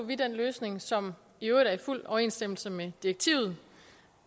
vi den løsning som i øvrigt er i fuld overensstemmelse med direktivet